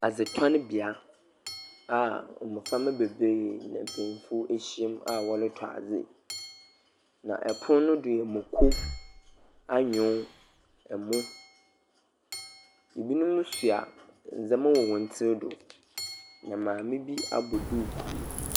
Adzetɔnbea a mboframba bebree na mpenyimfo ahyiam a wɔretɔ adze. Na pon no do no, moko, anyon, mmo. Ebinom sua ndzɛma wɔ hɔn tsir do. Na maame bi abɔ duukuu.